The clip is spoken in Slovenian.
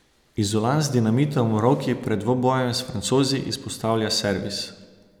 Izolan z dinamitom v roki pred dvobojem s Francozi izpostavlja servis.